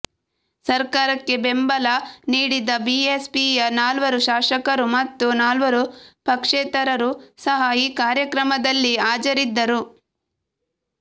ಸರ್ಕಾರಕ್ಕೆ ಬೆಂಬಲ ನೀಡಿದ್ದ ಬಿಎಸ್ಪಿಯ ನಾಲ್ವರು ಶಾಸಕರು ಮತ್ತು ನಾಲ್ವರು ಪಕ್ಷೇತರರು ಸಹ ಈ ಕಾರ್ಯಕ್ರಮದಲ್ಲಿ ಹಾಜರಿದ್ದರು